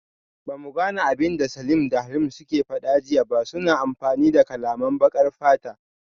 Bamu gane abinda Salim da Halim suke fada jiya ba, suna amfani da kalaman bakar fata